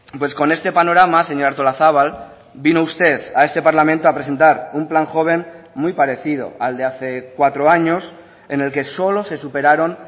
pues con este panorama señora artolazabal vino usted a este parlamento a presentar un plan joven muy parecido al de hace cuatro años en el que solo se superaron